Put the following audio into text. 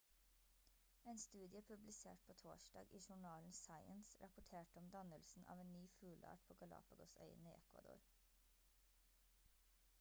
en studie publisert på torsdag i journalen science rapporterte om dannelse av en ny fugleart på galápagos-øyene i ecuador